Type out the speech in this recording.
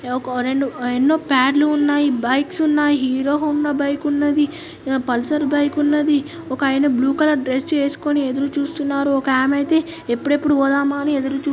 ఎన్నో పాడ్లు ఉన్నాయి బైక్స్ ఉన్నాయి హీరో హోండా బైక్ ఉన్నది పల్సర్ బైక్ ఉన్నది ఒక ఆయన బ్లూ కలర్ డ్రస్ వేస్కొని ఎదురు చూస్తున్నారు ఒక ఆమె అయితే ఎప్పుడెప్పుడు పోదామా అని ఎదురు చూ--